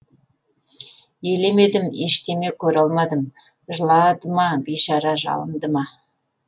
елемедім ештеме көре алмадым жылады ма бейшара жалынды ма